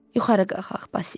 Yuxarı qalxaq, Basil.